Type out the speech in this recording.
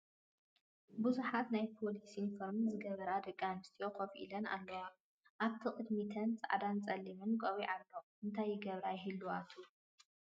ብዙሓት ናይ ፖሊስ ዩኒፎርም ዝገበራ ደቂ ኣንስትዮ ከፍ ኢለን ኣለዋ፡፡ ኣብቲ ቅድሚተን ፃዕዳን ፀሊምን ቆቢዕ ኣሎ፡፡ እንታይ ይገብራ ይህልዋ ትብሉ?